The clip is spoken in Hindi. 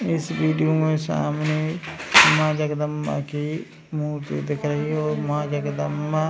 इस वीडियो में सामने माँ जगदंबा की मूर्ति दिख रही है और माँ जगदंबा --